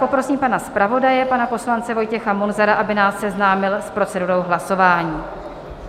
Poprosím pana zpravodaje, pana poslance Vojtěcha Munzara, aby nás seznámil s procedurou hlasování.